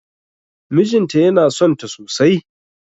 Mijinta yana sonta sosai